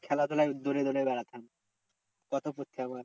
খেলাধুলায় দৌড়ে দৌড়ে বেড়াতাম কত পড়ছি একেবারে।